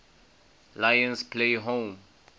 lions play home